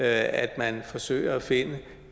at man forsøger at finde